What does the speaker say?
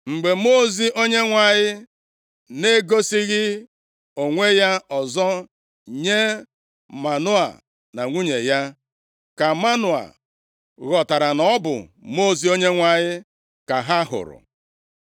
Mgbe Mmụọ ozi Onyenwe anyị na-egosighị onwe ya ọzọ nye Manoa na nwunye ya, ka Manoa ghọtara na ọ bụ Mmụọ ozi Onyenwe anyị ka ha hụrụ.